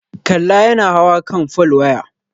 Kalla yana hawa kan folwaya.